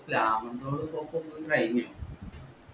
നമ്മൾ ഉം ഷൊർണൂർ ഉം കൈഞ്ഞു